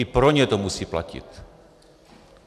I pro ně to musí platit.